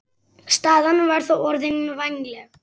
Staðan var þá orðin vænleg.